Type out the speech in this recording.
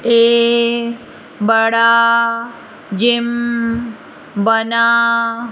ए बड़ा जिम बना--